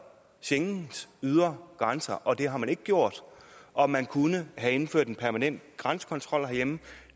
schengens ydre grænser og det har man ikke gjort og man kunne have indført en permanent grænsekontrol herhjemme